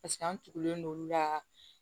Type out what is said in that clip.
Paseke an tugulen don olu la